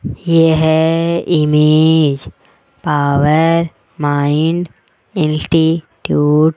यह image power mind institute --